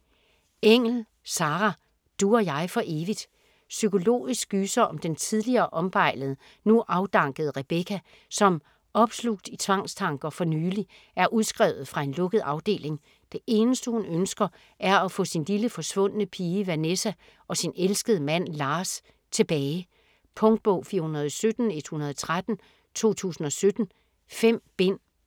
Engell, Sarah: Du og jeg for evigt Psykologisk gyser om den tidligere ombejlede, nu afdankede Rebecca, som opslugt i tvangstanker, for nylig er udskrevet fra en lukket afdeling. Det eneste hun ønsker er at få sin lille forsvundne pige Vanessa, og sin elskede mand Lars tilbage. Punktbog 417113 2017. 5 bind.